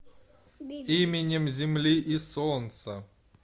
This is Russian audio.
именем земли и солнца